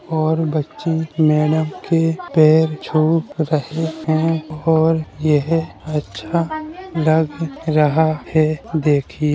और बच्चे मैडम के पैर छू रहे हैं और यह अच्छा लग रहा है देखिये --